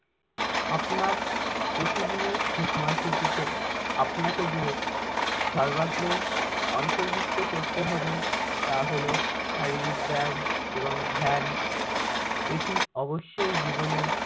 আপনার প্রতিদিনের সময়সূচিতে আপনাকে যে সর্বাগ্রে অন্তর্ভুক্ত করতে হবে তা হলো শারীরিক ব্যায়াম এবং ধ্যান এটি অবশ্যই জীবনে